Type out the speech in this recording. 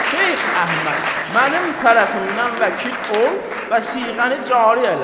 Şeyx Əhməd, mənim tərəfimdən vəkil ol və siğəni cari elə.